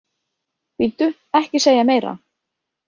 Bíddu, ekki segja meira